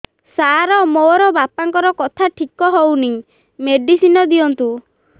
ସାର ମୋର ବାପାଙ୍କର କଥା ଠିକ ହଉନି ମେଡିସିନ ଦିଅନ୍ତୁ